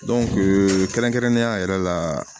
kɛrɛnkɛrɛnnenya yɛrɛ la